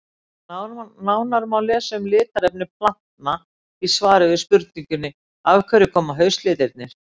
Nánar má lesa um litarefni plantna í svari við spurningunni Af hverju koma haustlitirnir?